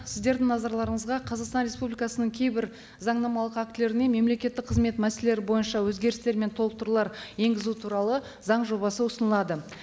сіздердің назарларыңызға қазақстан республикасының кейбір заңнамалық актілеріне мемлекеттік қызмет мәселелері бойынша өзгерістер мен толықтырулар енгізу туралы заң жобасы ұсынылады